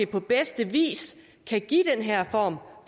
på bedste vis kan give den her form